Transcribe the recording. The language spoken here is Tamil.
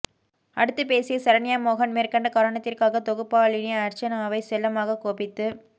அடுத்துப்பேசிய சரண்யா மோகன் மேற்கண்ட காரணத்திற்காகத் தொகுப்பாளினி அர்ச்சனாவைச் செல்லமாக கோபித்துக்